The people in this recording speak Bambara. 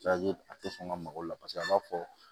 a tɛ sɔn ka mago la paseke a b'a fɔ